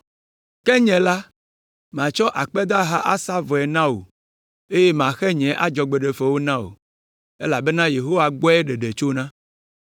Ke nye la, matsɔ akpedaha asa vɔe na wò, eye maxe nye adzɔgbeɖefe na wò, elabena Yehowa gbɔe ɖeɖe tsona.”